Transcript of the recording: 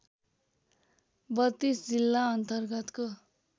३२ जिल्ला अन्तर्गतको